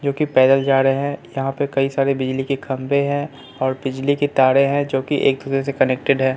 जोकि पैदल जा रहे है यहां पे कई सारे बिजली के खंभे है और बिजली के तारे है जोकि एक दूसरे से कनेक्टेड हैं।